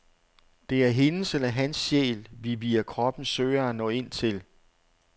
Det er hendes eller hans sjæl, vi via kroppen søger at nå ind til.